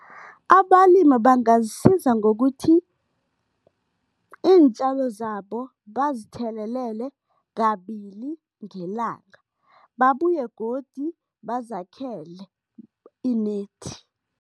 Abalimi bangazisiza ngokuthi, iintjalo zabo bazithelelele kabili ngelanga, babuye godi bazakhele i-net.